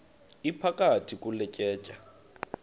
iphakathi kule tyeya